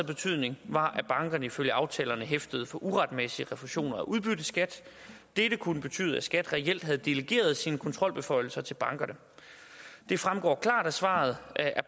betydning var at bankerne ifølge aftalerne hæftede for uretmæssig refusion af udbytteskat dette kunne betyde at skat reelt havde delegeret sine kontrolbeføjelser til bankerne det fremgår klart af svaret at